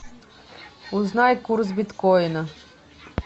узнай курс биткоина